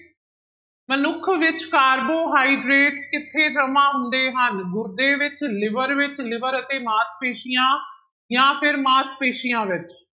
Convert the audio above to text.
ਮਨੁੱਖ ਵਿੱਚ ਕਾਰਬੋਹਾਈਡ੍ਰੇਟ ਕਿੱਥੇ ਜਮਾ ਹੁੰਦੇ ਹਨ, ਗੁਰਦੇ ਵਿੱਚ liver ਵਿੱਚ liver ਅਤੇ ਮਾਸਪੇਸੀਆਂ ਜਾਂ ਫਿਰ ਮਾਸਪੇਸੀਆਂ ਵਿੱਚ।